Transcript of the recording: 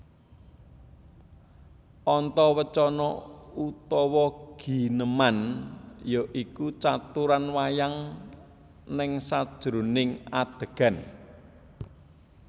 Antawacana utawi gineman ya iku caturan wayang neng sajeroning adhegan